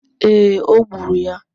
ee, o gburu ya.